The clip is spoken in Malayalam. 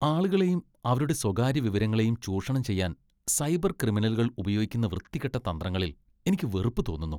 ആളുകളെയും അവരുടെ സ്വകാര്യ വിവരങ്ങളെയും ചൂഷണം ചെയ്യാൻ സൈബർ ക്രിമിനലുകൾ ഉപയോഗിക്കുന്ന വൃത്തികെട്ട തന്ത്രങ്ങളിൽ എനിക്ക് വെറുപ്പ് തോന്നുന്നു.